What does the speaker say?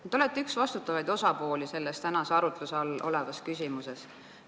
Te olete üks vastutavaid osapooli selles täna arutluse all olevas küsimuses.